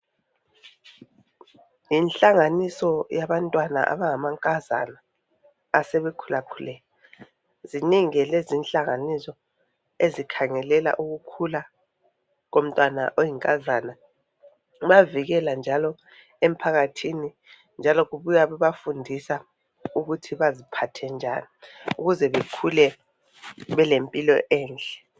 Yinhlanganiso yabantwana abanga mankazana asebe khulakhulile zinengi ke lezo inhlanganiso ezikhangelela ukukhulu komntwana oyinkazana kubavikela njalo emphakathini njalo kubuya bebafundisa ukuthi baziphathe njani ukuze bekhule belempilo enhle.